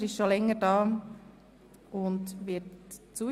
Zuerst eine Frage zum Ablauf.